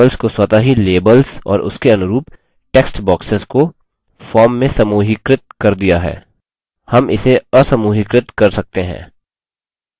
base ने labels को स्वतः ही labels और उसके उनुरूप textboxes को form में समूहीकृत कर दिया है